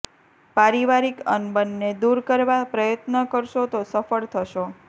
પારિવારિક અનબનને દુર કરવા પ્રયત્ન કરશો તો સફળ થશો